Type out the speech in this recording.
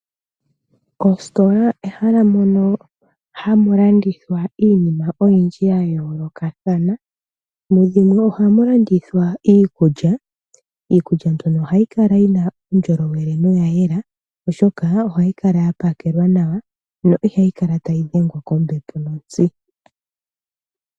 Ostola ehala mono hamu landithwa iinima oyindji yayoolokathana. Mudhimwe ohamu landithwa iikulya, iikulya ohayi kala yina uundjolowele noya yela oshoka ohayi kala yapakelwa nawa yo ihayi kala tayi dhengwa kombepo nontsi.